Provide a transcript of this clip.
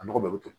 A nɔgɔ bɛɛ bɛ toli